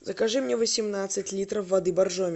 закажи мне восемнадцать литров воды боржоми